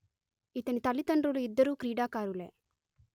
ఇతని తల్లిదండ్రులు ఇద్దరూ క్రీడాకారులే